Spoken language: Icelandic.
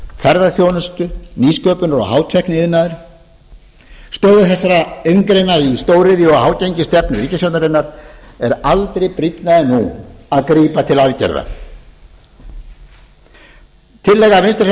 ferðaþjónustu nýsköpunar og hátækniiðnaðar stöðu þessara iðngreina í stóriðju og hágengisstefnu ríkisstjórnarinnar er aldrei brýnna en nú að grípa til aðgerða tillaga vinstri